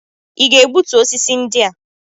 Ị ga-egbutu osisi ndị a?